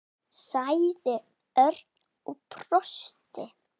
sagði Örn og brosti.